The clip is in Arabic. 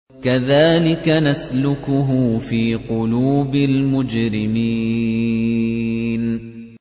كَذَٰلِكَ نَسْلُكُهُ فِي قُلُوبِ الْمُجْرِمِينَ